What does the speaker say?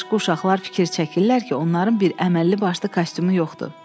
Başqa uşaqlar fikir çəkirlər ki, onların bir əməlli başlı kostyumu yoxdur.